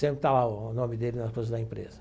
Sempre está lá o nome dele nas coisas da empresa.